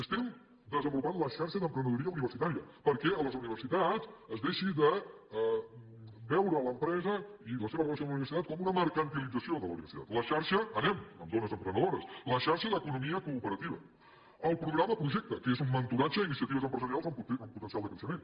estem desenvolupant la xarxa d’emprenedoria universitària perquè a les universitats es deixi de veure l’empresa i la seva relació amb la universitat com una mercantilització de la universitat la xarxa anem amb dones emprenedores la xarxa d’economia cooperativa el programa projecta’t que és un mentoratge a iniciatives empresarials amb potencial de creixement